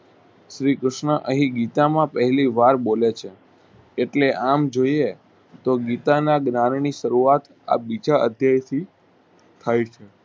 શ્રી કૃષ્ણ અહીં ગીતામાં પહેલીવાર બોલે છે એટ લે આમ જોઈએ તો ગીતાના જ્ઞાનની સારું આત આ બીજા અધ્યાયથી થાય છે.